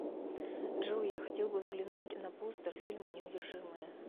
джой я хотел бы взглянуть на постер фильма неудержимые